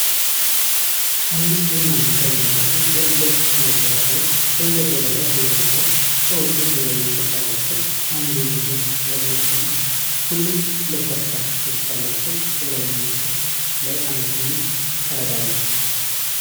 አምስት ቡናማ ቀለም ያላቸው የእንጨት ማብሰያ እቃዎች በእንጨት ወለል ላይ ተዘርግተዋል። እቃዎቹ የተለያየ ቅርጽ አላቸው፤ አንዱ ብዙ ቀዳዳዎች አሉት። ሁሉም ለስላሳ ገጽታ ያላቸውና፣ በላይኛው ጫፍ ላይ አንድ ትንሽ ቀዳዳ አለ።